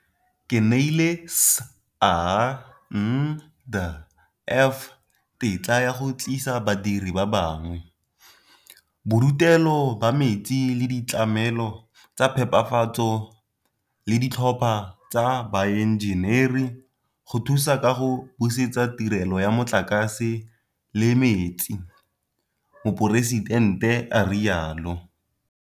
"Ke neile SANDF tetla ya go tlisa badiri ba bangwe, bodutelo ba metsi le ditlamelo tsa phepafatso le ditlhopha tsa baenjeneri go thusa ka go busetsa tirelo ya motlakase le metsi," Moporesidente a rialo.